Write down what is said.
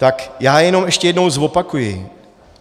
Tak já jenom ještě jednou zopakuji.